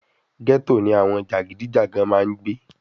Gẹ́tò ni àwọn jàgídíjàgan máa ń gbé